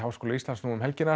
Háskóla Íslands um helgina